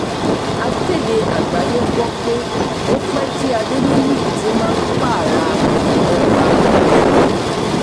akéde àgbáyé gbọ́ pé ó pẹ́ tí adẹniyítì máa ń pààrà ọgbà ẹ̀wọ̀n